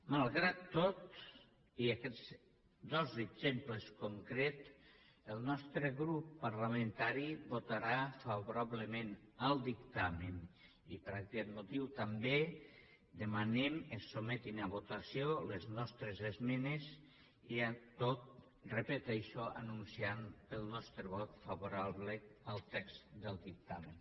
malgrat tot i aquests dos exemples concrets el nostre grup parlamentari votarà favorablement el dictamen i per aquest motiu també demanem que se sotmetin a votació les nostres esmenes i amb tot ho repeteixo anunciem el nostre vot favorable al text del dictamen